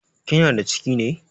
Kina da ciki ne?